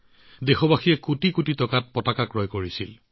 দেশবাসীয়ে কোটি কোটিত ত্ৰিৰংগা কিনিলে